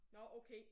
Nåh okay!